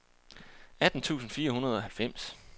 atten tusind fire hundrede og halvfems